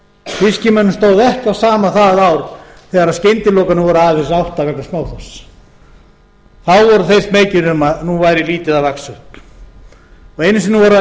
fiskimönnum stóð ekki á sama það ár þegar skyndilokanir voru aðeins átta vegna smáþorsks þá voru þeir smeykir um að nú væri lítið að vaxa upp einu sinni voru þær